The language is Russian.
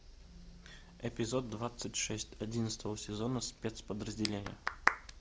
эпизод двадцать шесть одиннадцатого сезона спецподразделение